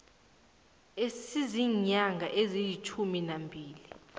esiziinyanga ezilitjhumi nambili